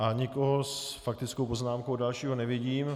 A nikoho s faktickou poznámkou dalšího nevidím.